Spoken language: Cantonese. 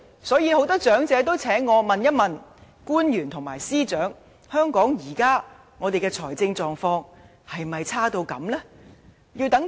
所以，很多長者也請我問一問官員和司長：香港現時的財政狀況是否差劣至此？